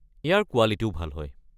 ইয়াৰ কোৱালিটিও ভাল হয়।